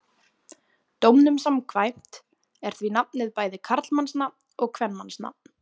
Dómnum samkvæmt er því nafnið bæði karlmannsnafn og kvenmannsnafn.